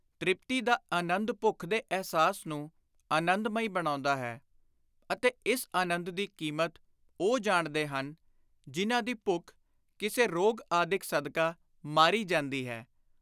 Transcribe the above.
ਤ੍ਰਿਪਤੀ ਦਾ ਆਨੰਦ ਭੁੱਖ ਦੇ ਅਹਿਸਾਸ ਨੂੰ ਆਨੰਦ-ਮਈ ਬਣਾਉਂਦਾ ਹੈ ਅਤੇ ਇਸ ਆਨੰਦ ਦੀ ਕੀਮਤ ਉਹ ਜਾਣਦੇ ਹਨ, ਜਿਨ੍ਹਾਂ ਦੀ ਭੁੱਖ, ਕਿਸੇ ਰੋਗ ਆਦਿਕ ਸਦਕਾ ਮਾਰੀ ਜਾਂਦੀ ਹੈ।